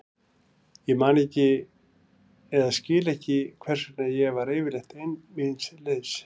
Ég man ekki eða skil ekki hvers vegna ég var yfirleitt ein míns liðs.